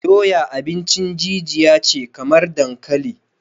Doya abincin jijiya ce kamar dankali